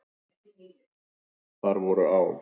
Þar voru á.